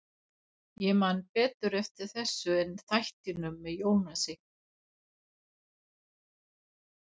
Ég man betur eftir þessu en þættinum með Jónasi.